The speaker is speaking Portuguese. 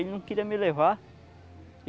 Ele não queria me levar.